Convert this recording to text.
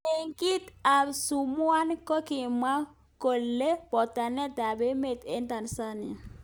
Meng'iik ap Sumbwanga kokimwoe olekiuu potanet ap emeet eng Tanzania